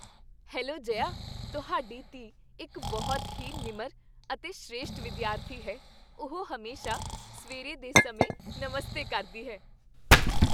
Hello Jaya, ਤੁਹਾਡੀ ਧੀ ਇੱਕ ਬਹੁਤ ਹੀ ਨਿਮਰ ਅਤੇ ਸ੍ਰੇਸ਼ਠ ਵਿਦਿਆਰਥੀ ਹੈ। ਉਹ ਹਮੇਸ਼ਾ ਸਵੇਰੇ ਦੇ ਸਮੇਂ ਨਮਸਤੇ ਕਰਦੀ ਹੈ।